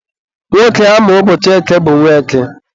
nwoke a mụrụ ụbọchị eke bụ Nweke.